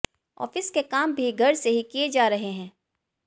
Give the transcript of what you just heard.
office के काम भी घर से ही किए जा रहे हैं